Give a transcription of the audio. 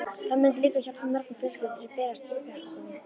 Það myndi líka hjálpa mörgum fjölskyldum sem berjast í bökkum.